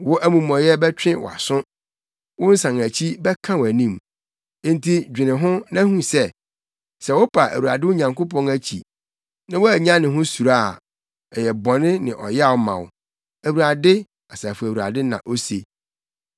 Wo amumɔyɛ bɛtwe wʼaso; wo nsanakyi bɛka wʼanim. Enti dwene ho na hu sɛ, sɛ wopa Awurade wo Nyankopɔn akyi na woannya ne ho suro a, ɛyɛ bɔne ne ɔyaw ma wo.” Awurade, Asafo Awurade na ose.